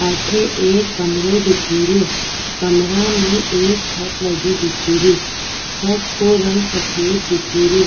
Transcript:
अठे एक कमरों दिखे रो कमरा में एक छत लगी दिखे री छत को रंग सफ़ेद दिखे रो।